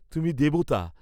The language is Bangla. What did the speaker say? তুমি দেবতা!